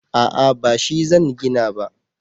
a'a ba shi zan gina ba